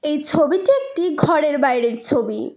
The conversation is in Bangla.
এই ছবিটি একটি ঘরের বাইরের ছবি।